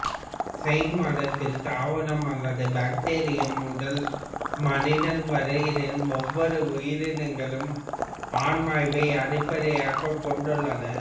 சைன மதத்தில் தாவரம் அல்லது பாக்டீரியம் முதல் மனிதன் வரையிலான ஒவ்வொரு உயிரினங்களும் ஆன்மாவை அடிப்படையாகக் கொண்டுள்ளன